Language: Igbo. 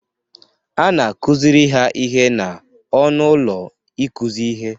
A na-akụziri ha ihe n'ọnụ ụlọ ịkụzi ihe.